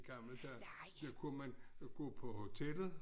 Gamle dage der kunne man gå på hotellet